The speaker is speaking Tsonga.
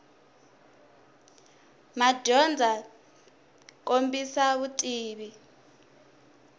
madyondza byi kombisa vutivi